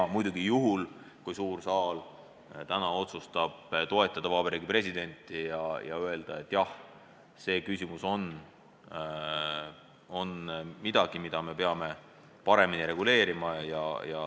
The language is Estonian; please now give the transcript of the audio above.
Seda muidugi juhul, kui suur saal täna otsustab toetada Vabariigi Presidenti ja öelda, et jah, me peame seda küsimust paremini reguleerima.